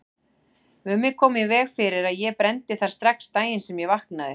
Mummi kom í veg fyrir að ég brenndi þær strax daginn sem ég vaknaði.